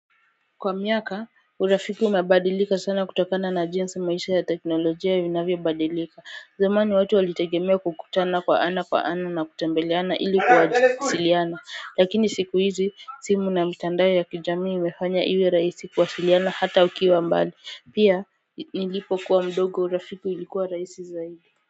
Kwa miaka, urafiki umebadilika sana kutokana na jinsi maisha ya teknolojia inavyobadilika. Zamani watu walitegemea kukutana kwa ana kwa ana na kutembeleana ili kuwasiliana. Lakini siku hizi, simu na mitandao ya kijamii imefanya iwe rahisi kuwasiliana hata ukiwa mbali. Pia, nilipokuwa mdogo urafiki ulikuwa rahisi zaidi.